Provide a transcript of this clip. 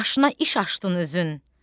Başına iş açdın özün.